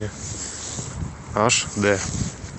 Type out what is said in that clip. аш дэ